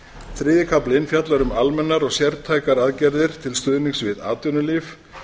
þriðji kaflinn fjallar um almennar og sértækar aðgerðir til stuðnings við atvinnulíf